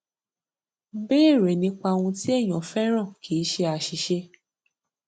béèrè nípa ohun tí èèyàn fẹràn kì í ṣe aṣìṣe